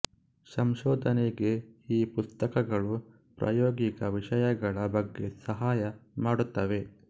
ಸಂಶೋಧನೆಗೆ ಈ ಪುಸ್ತಕಗಳು ಪ್ರಾಯೋಗಿಕ ವಿಷಯಗಳ ಬಗ್ಗೆ ಸಹಾಯ ಮಾಡುತ್ತವೆ